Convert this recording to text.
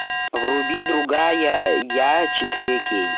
вруби другая я четыре кей